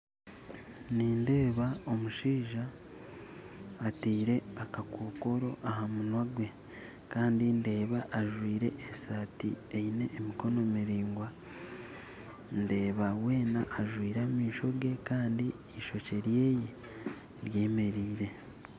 Nindeeba omushaija atiire akakokoro aha munwa gwe kandi ndeeba ajwire eshaati eine emikono miringwa, ndeeba weena ajwire amaisho ge kandi eishokye rye ryemereire